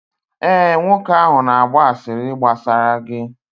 ee, nwoke ahụ na-agba asịrị gbasara gị